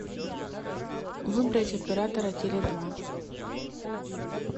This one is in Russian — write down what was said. выбрать оператора теле два